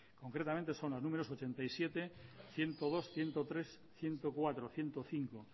concretamente son las números ochenta y siete ciento dos ciento tres ciento cuatro ciento cinco